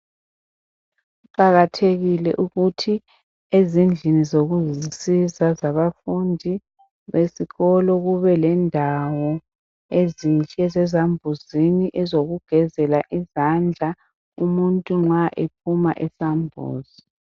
Kuqakathekile ukuthi ezindlini zokuzisiza zabafundi besikolo kubelendawo ezintsha esambuzini ezokugezela izandla umuntu nxa bephuma esambuzi